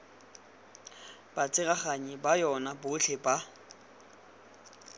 batsereganyi ba yona botlhe ba